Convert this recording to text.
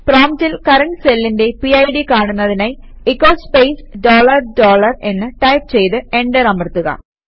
പ്രോംപ്റ്റിൽ കറന്റ് സെല്ലിന്റെ പിഡ് കാണുന്നതിനായി എച്ചോ സ്പേസ് ഡോളർ ഡോളർ എന്ന് ടൈപ് ചെയ്ത് എന്റർ അമർത്തുക